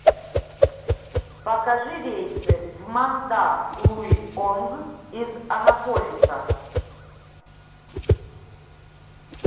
покажи рейсы в мандалуйонг из анаполиса